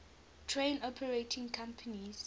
train operating companies